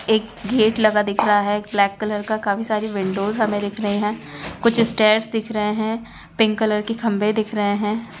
एक गेट लगा दिख रहा है ब्लैक कलर का काफी सारी विंडोअस हमे दिख रहे है यह कुछ स्टेर्स दिख रहे है पिंक कलर के खम्भे दिख रहे है।